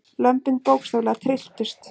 Lömbin bókstaflega trylltust.